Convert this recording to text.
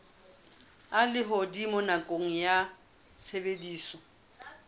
a lehodimo nakong ya tshebediso